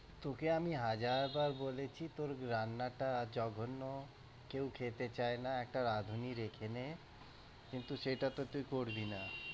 তোকে আমি হাজার বার বলেছি তোর রান্নাটা জঘন্য কেউ খেতে চাই না একটা রাঁধুনী রেখে নে, কিন্তু সেটাত তুই করবি না।